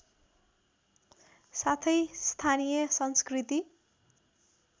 साथै स्थानिय संस्कृती